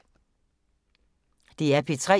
DR P3